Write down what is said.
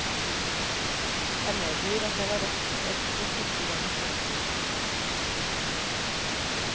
Jeg medgir at jeg var redd etter første gangs lesning.